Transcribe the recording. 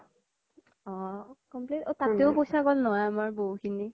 অ তাতেও পইচা গ্'ল নহয় আমাৰ বহু খিনি